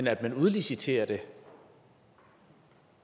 at man udliciterer det